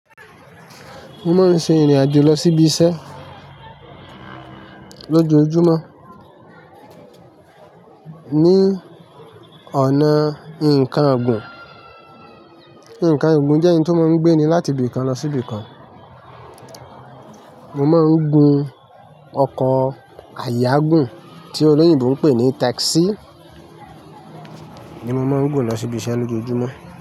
Mo máa ń ṣe ìrìn-àjò lọ sí ibi iṣẹ́ lójoojúmọ́ ní ọ̀nà ǹkan ọ̀gùn. Ǹkan igùn jẹ́ ǹkan tí o máa ń gbé ni láti ibi kan lọ sí ibe kan. Mo máa ń gun ọkọ̀ ayágùn tí olóyìnbo ń pè ní tákísì ni mo má ń rò lọ sí ibi iṣẹ́ lójoojúmọ́.